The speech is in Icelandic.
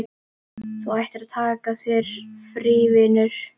Þú ættir að taka þér frí, vinurinn.